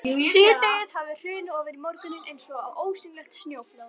Síðdegið hafði hrunið ofan í morguninn eins og ósýnilegt snjóflóð.